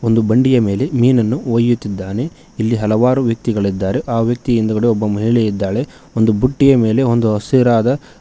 ಒಂದು ಬಂಡಿಯ ಮೇಲೆ ಮೀನನ್ನು ಒಯ್ಯುತ್ತಿದ್ದಾನೆ ಇಲ್ಲಿ ಹಲವಾರು ವ್ಯಕ್ತಿಗಳಿದ್ದಾರೆ ಆ ವ್ಯಕ್ತಿ ಹಿಂದುಗಡೆ ಒಬ್ಬ ಮಹಿಳೆ ಇದ್ದಾಳೆ ಒಂದು ಬುಟ್ಟಿಯ ಮೇಲೆ ಒಂದು ಹಸಿರಾದ.